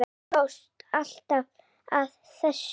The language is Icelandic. Svo hlóstu alltaf að þessu.